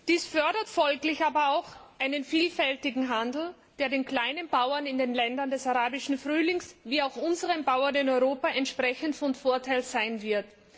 Dies fördert folglich aber auch einen vielfältigen Handel, der den kleinen Bauern in den Ländern des Arabischen Frühlings, wie auch unseren Bauern in Europa, entsprechend von Vorteil sein wird.